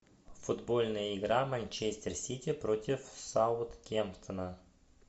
футбольная игра манчестер сити против саутгемптона